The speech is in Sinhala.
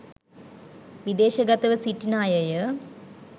විදේශගතව සිටින අයය